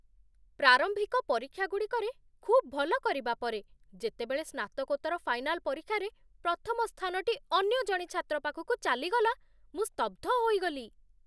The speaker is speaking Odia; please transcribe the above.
ପ୍ରାରମ୍ଭିକ ପରୀକ୍ଷାଗୁଡ଼ିକରେ ଖୁବ୍ ଭଲ କରିବା ପରେ, ଯେତେବେଳେ ସ୍ନାତକୋତ୍ତର ଫାଇନାଲ ପରୀକ୍ଷାରେ ପ୍ରଥମ ସ୍ଥାନଟି ଅନ୍ୟ ଜଣେ ଛାତ୍ର ପାଖକୁ ଚାଲିଗଲା, ମୁଁ ସ୍ତବ୍ଧ ହୋଇଗଲି।